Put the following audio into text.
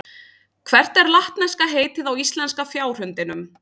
Hvert er latneska heitið á íslenska fjárhundinum?